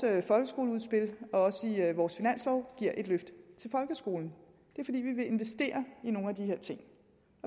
folkeskoleudspil og også i vores finanslov giver et løft til folkeskolen det er fordi vi vil investere i nogle af de her ting